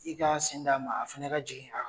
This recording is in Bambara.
I ka sen d'a ma a fɛn ka jigin